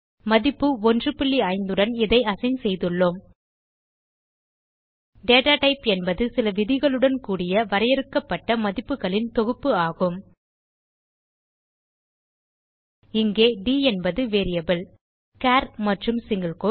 மதிப்பு 15 உடன் இதை அசைன் செய்துள்ளோம் டேட்டா டைப் என்பது சில விதிகளுடன் கூடிய வரையறுக்கப்பட்ட மதிப்புகளின் தொகுப்பு ஆகும் இங்கே ட் என்பது வேரியபிள் சார் மற்றும் சிங்கில் கோட்ஸ்